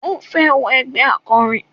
Ó fẹ́ wọ ẹgbẹ́ akọrin.